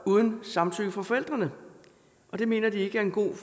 uden samtykke fra forældrene og det mener de ikke er en god